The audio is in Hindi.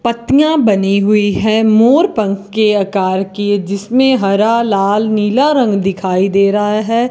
पत्तियां बनी हुई हैं मोर पंख के आकार की जिसमें हरा लाल नीला रंग दिखाई दे रहा है।